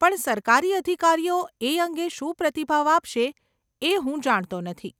પણ સરકારી અધિકારીઓ એ અંગે શું પ્રતિભાવ આપશે એ હું જાણતો નથી.